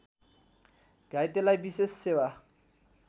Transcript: घाइतेलाई विशेष सेवा